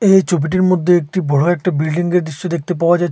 এই ছবিটির মধ্যে একটি বড় একটি বিল্ডিংঙ্গের দৃশ্য দেখতে পাওয়া যাচ্ছে।